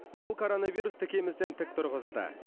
бұл коронавирус тікемізден тік тұрғызды